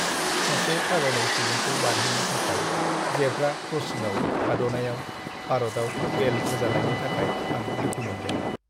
सासे थाबायनाय सुबुंखौ बारहोनो थाखाय जेब्रा क्रसिंआव थाद'नायाव भारतआव बेल होजानायनि थाखाय आं दुखु मोन्दों।